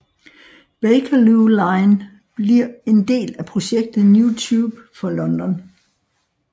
Bakerloo line bliver en del af projektet New Tube for London